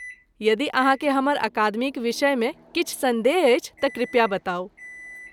यदि अहाँकेँ हमर अकादमीक विषयमे किछु सन्देह अछि तँ कृपया बताउ।